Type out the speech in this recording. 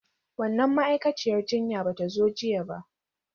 Wannan ma'aikaciyar jinya ba ta zo jiya ba.